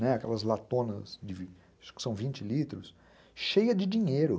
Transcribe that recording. Aquelas latonas, acho que são vinte litros, cheias de dinheiro.